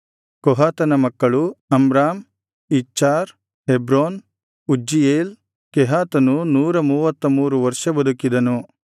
ಕೊಹಾತನ ಮಕ್ಕಳು Amram Izhar Hebron Uzziel ಕೆಹಾತನು ನೂರ ಮೂವತ್ತಮೂರು ವರ್ಷ ಬದುಕಿದನು